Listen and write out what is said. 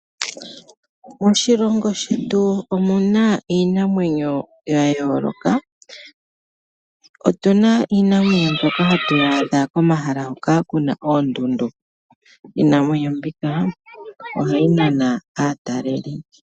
Moshilongo shetu omuna iinamwenyo ya yooloka otuna iinamwenyo mbyoka ha adha komah hoka kuna oondundu iinamwenyo mbika ohayi nana aataleli.